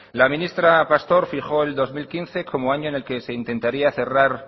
la ministra pastor fijó el dos mil quince como año en el que se intentaría cerrar